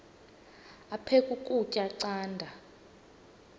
aphek ukutya canda